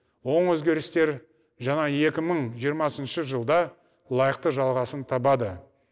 оң өзгерістер жаңа екі мың жиырмасыншы жылда лайықты жалғасын табады